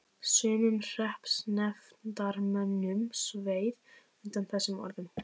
Sumum hreppsnefndarmönnum sveið undan þessum orðum.